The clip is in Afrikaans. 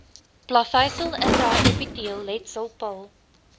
plaveisel intraepiteelletsel pil